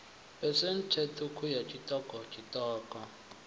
phesenthe ṱhukhu ya tshiṱoko tshiṱoko